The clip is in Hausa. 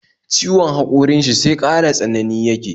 Ciwon haƙorin shi sai ƙara tsanani yake